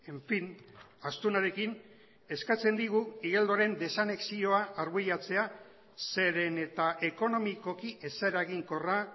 en fin astunarekin eskatzen digu igeldoren desanexioa arbuiatzea zeren eta ekonomikoki ez eraginkorra